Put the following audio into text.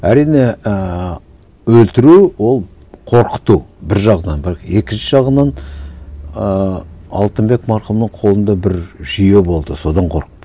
әрине ііі өлтіру ол қорқыту бір жағынан бірақ екінші жағынан ыыы алтынбек марқұмның қолында бір жүйе болды содан қорықты